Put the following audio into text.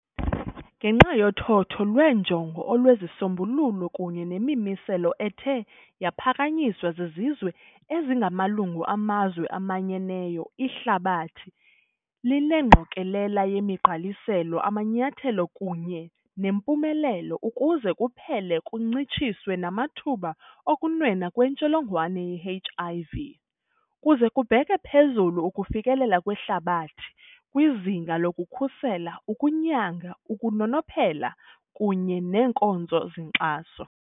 Ngenxa yothotho lweenjongo, olwezisombululo, kunye nemimiselo ethe yaphakanyiswa zizizwe ezingamalungu amazwe amanyeneyo, ihlabathi linengqokolela yemigqaliselo, amanyathelo, kunye nempumelelo ukuze kuphele kuncitshiswe namathuba okunwenwa kwentsholongwane ye-H.I.V. kuze kubheke phezulu ukufikelela kwehlabathi kwizinga lokukhusela, ukunyanga, ukunonophela, kunye neenkonzo zenkxaso.